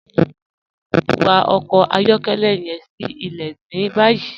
Wa ọkọ ayọkẹlẹ yẹn sí ilẹ̀ ní báyì.